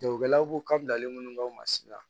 Jagokɛlaw ko kabilalen ninnu b'anw ma si la